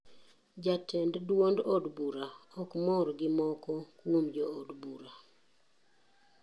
Jatend duond od bura ok mor gi moko kuom jood bura.